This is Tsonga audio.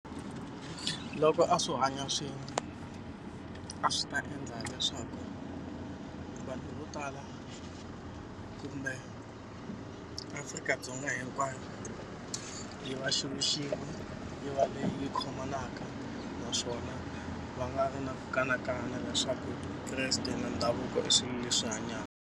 Loko a swo hanya swin'we a swi ta endla leswaku vanhu vo tala kumbe Afrika-Dzonga hinkwayo yi va xilo xin'we yi va leyi khomanaka naswona va nga vi na ku kanakana leswaku Kreste na ndhavuko i swilo leswi hanyaka.